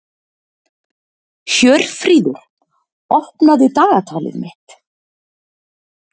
Hjörfríður, opnaðu dagatalið mitt.